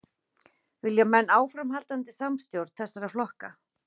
Vilja menn áframhaldandi samstjórn þessara flokka?